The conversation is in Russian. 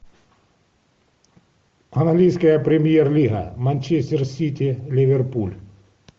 английская премьер лига манчестер сити ливерпуль